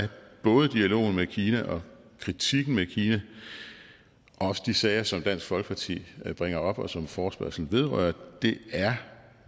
både dialogen med kina og kritikken af kina og også de sager som dansk folkeparti bringer op og som forespørgslen vedrører